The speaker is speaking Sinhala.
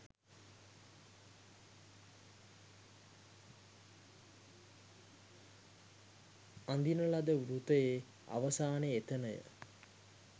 අඳින ලද වෘතයේ අවසානය එතනය.